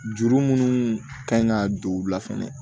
Juru minnu kan ka don u la fɛnɛ